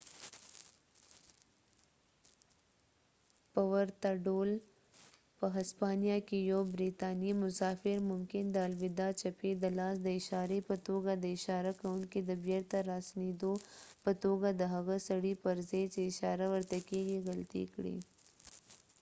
په ورته ډول، په هسپانیا کې یو بریتانیایی مسافر ممکن د الوداع چپې د لاس د اشارې په توګه د اشاره کونکي د بیرته راسنیدو په توګه د هغه سړي پر ځای چې اشاره ورته کیږي غلطي کړي